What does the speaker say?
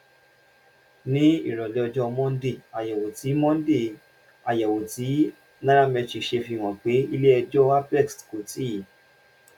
ní ìrọ̀lẹ́ ọjọ́ monday àyẹ̀wò tí monday àyẹ̀wò tí nairametrics ṣe fi hàn pé ilé ẹjọ́ apex kò tíì